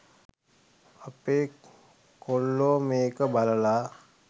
අපේ කොල්ලෝ මේක බලලා